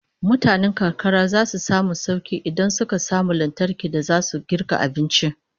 Mutanen karkara zasu samu sauki idan suka samu lantarki da zasu girka abinci